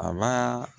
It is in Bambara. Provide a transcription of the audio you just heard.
A ba